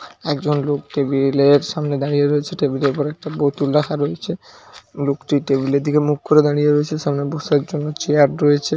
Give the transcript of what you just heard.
একজন লোক টেবিল -এর সামনে দাঁড়িয়ে রয়েছে টেবিল -এর উপর একটা বোতল রাখা রয়েছে লোকটি টেবিল -এর দিকে মুখ করে দাঁড়িয়ে রয়েছে সামনে বসার জন্য চেয়ার রয়েছে।